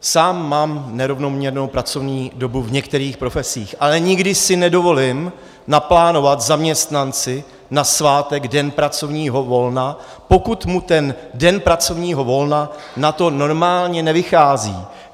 Sám mám nerovnoměrnou pracovní dobu v některých profesích, ale nikdy si nedovolím naplánovat zaměstnanci na svátek den pracovního volna, pokud mu ten den pracovního volna na to normálně nevychází.